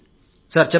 అవును సార్